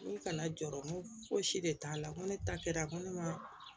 N ko kana jɔrɔ n ko fosi de t'a la n ko ne ta kɛra ko ne ma